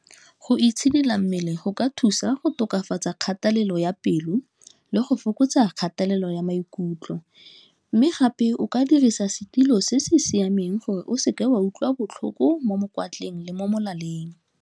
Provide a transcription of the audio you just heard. Go itshidila mmele go ka thusa go tokafatsa kgatelelo ya pelo, le go fokotsa kgatelelo ya maikutlo, mme gape o ka dirisa setilo se se siameng gore o seke wa utlwa botlhoko mo mokwatleng le mo molaleng.